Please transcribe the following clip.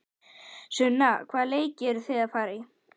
Sunna: Hvaða leiki eruð þið að fara í?